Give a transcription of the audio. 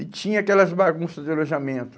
E tinha aquelas bagunças de alojamento.